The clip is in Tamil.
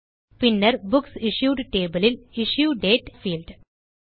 பின்னர் புக்சிஷ்யூட் டேபிள் இல் இஷ்யூ டேட் பீல்ட்